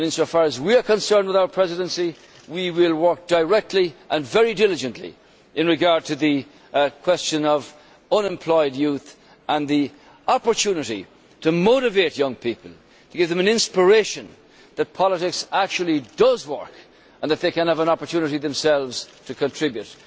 In so far as we are concerned, with our Presidency we will work directly and very diligently in regard to the question of unemployed youth and the opportunity to motivate young people, to give them an inspiration that politics actually does work and that they can have an opportunity themselves to contribute.